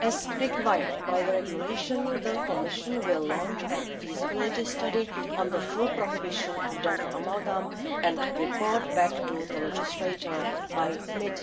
As required by the regulation, the Commission will launch a feasibility study on the full prohibition of dental amalgam and report back to the legislator by mid